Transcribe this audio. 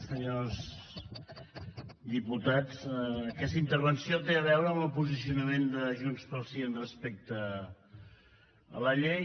senyors diputats aquesta intervenció té a veure amb el posicionament de junts pel sí respecte a la llei